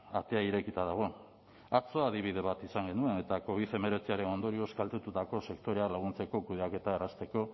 atea irekita dago atzo adibide bat izan genuen eta covid hemeretziaren ondorioz kaltetutako sektorea laguntzeko kudeaketa errazteko